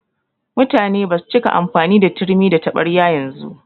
Mutane basu cika amfani da turmi da taɓarya yanzu.